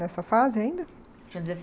Nessa fase ainda? Tinha